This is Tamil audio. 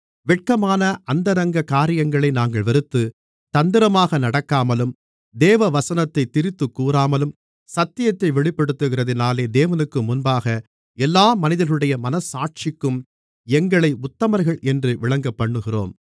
வெட்கமான அந்தரங்க காரியங்களை நாங்கள் வெறுத்து தந்திரமாக நடக்காமலும் தேவ வசனத்தைத் திரித்துக் கூறாமலும் சத்தியத்தை வெளிப்படுத்துகிறதினாலே தேவனுக்குமுன்பாக எல்லா மனிதர்களுடைய மனச்சாட்சிக்கும் எங்களை உத்தமர்கள் என்று விளங்கப்பண்ணுகிறோம்